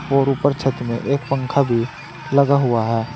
और ऊपर पर एक पंखा भी लगा हुआ है।